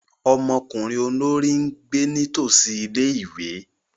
Ọmọkunrin olori n gbe nitosi ìlé-ìwé.